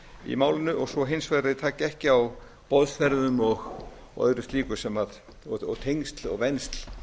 í málinu og svo hins vegar að þeir taki ekki á boðsferðum og öðru slíku og tengsl og vensl